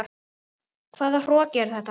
Hvaða hroki er þetta?